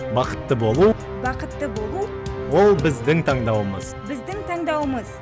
бақытты болу бақытты болу ол біздің таңдауымыз біздің таңдауымыз